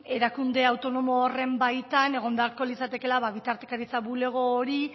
erakunde autonomo horren baitan egon beharko litzatekeela bitartekaritza bulego hori